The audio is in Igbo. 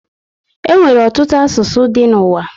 E nwere ọtụtụ asụsụ dị n'uwa